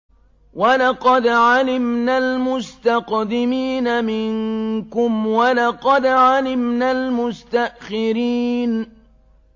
وَلَقَدْ عَلِمْنَا الْمُسْتَقْدِمِينَ مِنكُمْ وَلَقَدْ عَلِمْنَا الْمُسْتَأْخِرِينَ